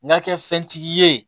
N'a kɛ fɛn tigi ye